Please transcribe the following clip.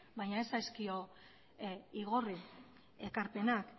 baina ez zaizkio igorri ekarpenak